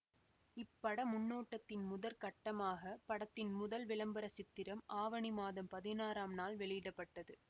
இப்பட முன்னோட்டத்தின் முதற்கட்டமாக படத்தின் முதல் விளம்பர சித்திரம் ஆவணி மாதம் பதினாறாம் நாள் வெளியிட பட்டது